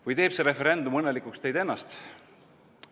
Või teeb see referendum õnnelikuks teid ennast?